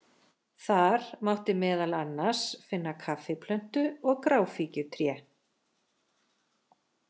Þar mátti meðal annars finna kaffiplöntu og gráfíkjutré.